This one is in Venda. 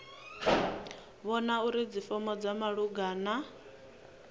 vhona uri dzifomo dza malugana